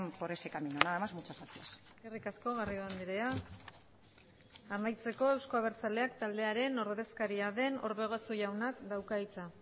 por ese camino nada más muchas gracias eskerrik asko garrido andrea amaitzeko eusko abertzaleak taldearen ordezkaria den orbegozo jaunak dauka hitza